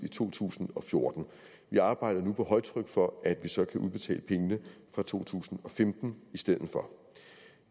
i to tusind og fjorten vi arbejder nu på højtryk for at vi så kan udbetale pengene fra to tusind og femten i stedet for